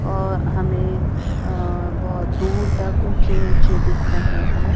और हमें अह बहुत दूर तक ऊंचे-ऊंचे दिख रहे हैं।